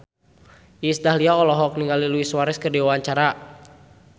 Iis Dahlia olohok ningali Luis Suarez keur diwawancara